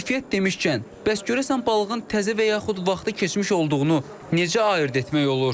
Keyfiyyət demişkən, bəs görəsən balığın təzə və yaxud vaxtı keçmiş olduğunu necə ayırd etmək olar?